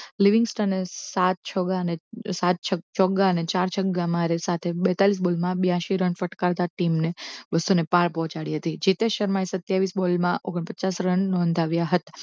લિવિંગસ્થને સાત ચોક્કા અને અને ચાર છગ્ગા સાથે બેતાલીશ બોલમાં બ્યાશી રન ફટકારતા team ને બસો ને પાર પહોંચાડી હતી જેતે શર્માએ સત્યાવીશ બોલમાં ઓગન્પચાશ રન નોંધાવી હતાં